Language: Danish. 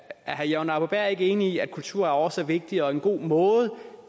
herre jørgen arbo bæhr ikke enig i at kulturarv også er vigtigt og en god måde